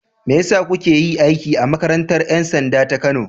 Me ya sa kuka yi aiki a makarantar 'yan sanda ta Kano?